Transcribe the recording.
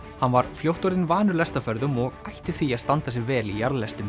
hann var fljótt orðinn vanur lestarferðum og ætti því að standa sig vel í